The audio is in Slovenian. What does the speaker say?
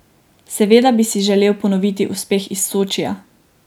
Seveda bi si želel ponoviti uspeh iz Sočija.